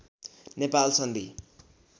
नेपाल सन्धि